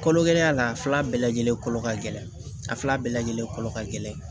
Kolo gɛlɛnya la a fila bɛɛ lajɛlen kolo ka gɛlɛn a fila bɛɛ lajɛlen kolo ka gɛlɛn